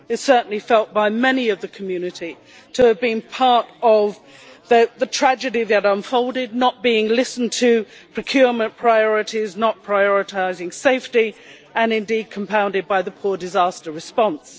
It was certainly felt by many in the community to have been a part of the tragedy that unfolded not being listened to, procurement priorities, not prioritising safety and indeed compounded by the poor disaster response.